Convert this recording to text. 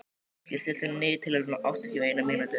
Fylkir, stilltu niðurteljara á áttatíu og eina mínútur.